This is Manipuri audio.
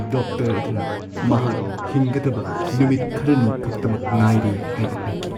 ꯗꯣꯛꯇꯔ ꯑꯗꯨꯅ ꯃꯍꯥꯛ ꯍꯤꯡꯒꯗꯕ ꯅꯨꯃꯤꯠ ꯈꯔꯅꯤ ꯈꯛꯇꯃꯛ ꯉꯥꯏꯔꯦ ꯍꯥꯏꯅ ꯍꯥꯏꯈꯤ꯫